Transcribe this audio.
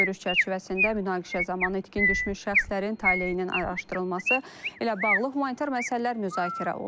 Görüş çərçivəsində münaqişə zamanı itkin düşmüş şəxslərin taleyinin araşdırılması ilə bağlı humanitar məsələlər müzakirə olunub.